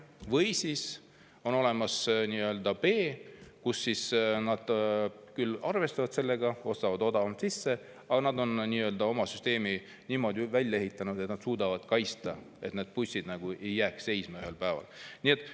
Või siis on nii, et on arvestatud sellega, on ostetud need bussid odavamalt sisse, aga süsteem on niimoodi välja ehitatud, et seda suudetakse kaitsta, et need bussid ühel päeval lihtsalt seisma ei jääks.